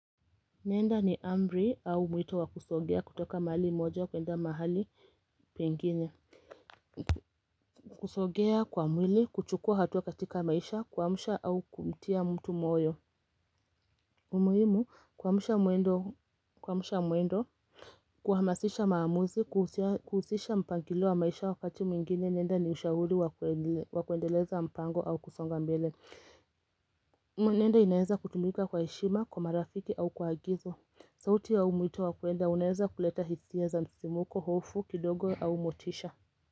Nenda ni amri au mwito wakusogea kutoka mahali moja kwenda mahali pengine. Kusogea kwa mwili, kuchukua hatua katika maisha, kuamsha au kumtia mtu moyo. Umuhimu, kuamsha muendo, kuhamasisha maamuzi, kuhusisha mpangilo wa maisha wakati mwingine. Nenda ni ushauri wa kuendeleza mpango au kusonga mbele. Nenda inaeza kutumika kwa heshima, kwa marafiki au kwa agizo. Sauti ya huu mwito wa kuenda unaeza kuleta hisia za msisimko, hofu kidogo au motisha.